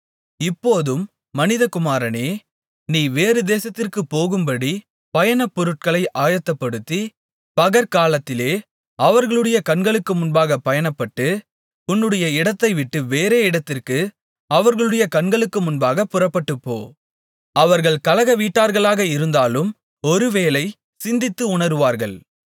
இப்போதும் மனிதகுமாரனே நீ வேறு தேசத்திற்கு போகும்படி பயண பொருட்களை ஆயத்தப்படுத்தி பகற்காலத்திலே அவர்களுடைய கண்களுக்கு முன்பாகப் பயணப்படு உன்னுடைய இடத்தைவிட்டு வேறே இடத்திற்கு அவர்களுடைய கண்களுக்கு முன்பாகப் புறப்பட்டுப்போ அவர்கள் கலகவீட்டார்களாக இருந்தாலும் ஒருவேளை சிந்தித்து உணருவார்கள்